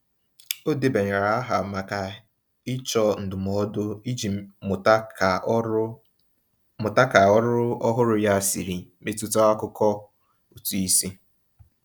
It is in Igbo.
O debanyere aha maka ịchọ ndụmọdụ iji mụta ka ọrụ mụta ka ọrụ ọhụrụ ya siri metụta akụkọ ụtụisi.